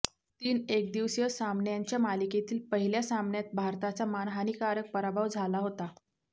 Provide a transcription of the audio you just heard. तीन एकदिवसीय सामन्यांच्या मालिकेतील पहिल्या सामन्यात भारताचा मानहानीकारक पराभव झाला होता